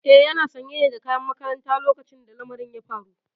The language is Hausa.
Eh yana sanye ne da kayan makaranta lokacin da lamarin ya faru.